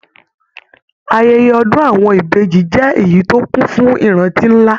Ayẹyẹ ọdun àwọn Ìbejì jẹ èyí tó kún fún ìrántí nlá.